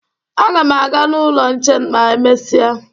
Aga m aga n'ụlọ nche ma emesịa